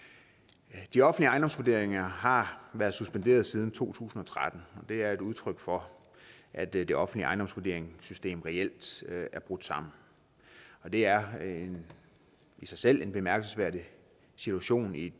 de offentlige ejendomsvurderinger har været suspenderet siden to tusind og tretten og det er et udtryk for at det det offentlige ejendomsvurderingssystem reelt er brudt sammen det er i sig selv en bemærkelsesværdig situation i et